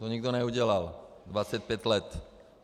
To nikdo neudělal 25 let.